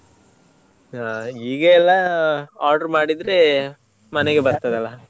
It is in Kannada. ಹಾ ಈಗ ಎಲ್ಲ order ಮಾಡಿದ್ರೆ ಮನೆಗೆ ಬರ್ತದೆ ಅಲ್ಲ.